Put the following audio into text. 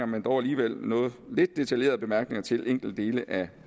men dog alligevel lidt detaljerede bemærkninger til enkeltdele af